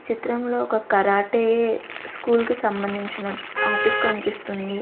చిత్రంలో ఒక karate school కి సంబంధించినట్ ఆఫీస్ కన్పిస్తుంది.